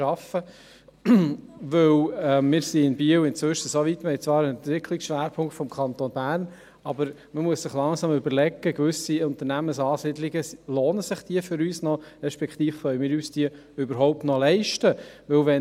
Inzwischen sind wir in Biel so weit – wir haben zwar einen Entwicklungsschwerpunkt des Kantons Bern –, dass wir uns langsam überlegen müssen, ob sich gewisse Unternehmensansiedlungen für uns noch lohnen, respektive ob wir uns diese überhaupt noch leisten können.